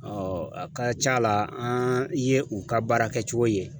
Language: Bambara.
a ka c'a la an ye u ka baara kɛcogo ye.